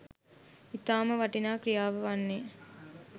ඉතාම වටිනා ක්‍රියාව වන්නේ